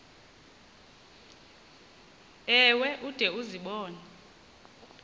ewe ude uzibone